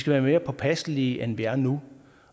være mere påpasselige end vi er nu